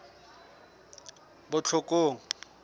botlhokong